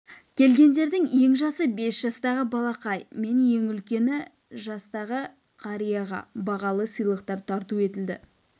келгендердің ең жасы бес жастағы балақай мен ең үлкені жастағы қарияға бағалы сыйлықтар тарту етілді